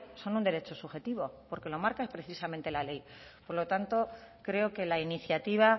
son un derecho subjetivo porque lo marca precisamente la ley por lo tanto creo que la iniciativa